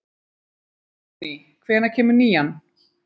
Jóný, hvenær kemur nían?